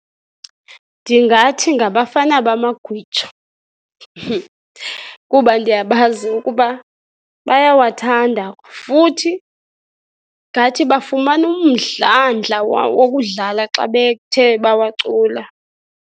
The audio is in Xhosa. Ndingathi ngabafana bamagwijo kuba ndiyabazi ukuba bayawathanda futhi ngathi bafumana umdlandla wokudlala xa bethe bawacula.